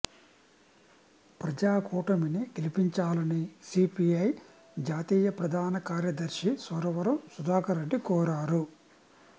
ప్రజా కూటమిని గెలిపించాలని సీపీఐ జాతీయ ప్రధాన కార్యదర్శి సురవరం సుధాకర్ రెడ్డి కోరారు